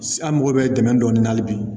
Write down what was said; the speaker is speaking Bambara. An mago bɛ dɛmɛ dɔ ni nali bi